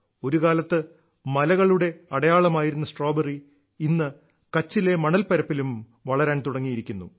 ഒരുകാലത്ത് മലകളുടെ അടയാളമായിരുന്ന സ്ട്രോബെറി ഇന്ന് കച്ചിലെ മണൽപ്പരപ്പിലും വളരാൻ തുടങ്ങിയിരിക്കുന്നു